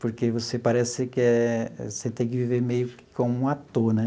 Porque você parece que é... você tem que viver meio que como um ator, né?